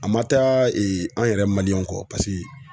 A ma taa an yɛrɛ kɔ paseke